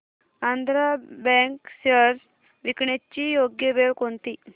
Andhra bank shares विकण्याची योग्य वेळ कोणती